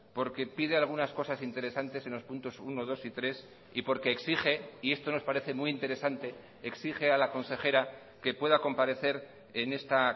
porque pide algunas cosas interesantes en los puntos uno dos y tres y porque exige y esto nos parece muy interesante exige a la consejera que pueda comparecer en esta